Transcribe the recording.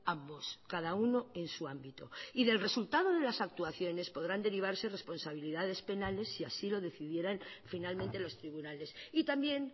ambos cada uno en su ámbito y del resultado de las actuaciones podrán derivarse responsabilidades penales si así lo decidieran finalmente los tribunales y también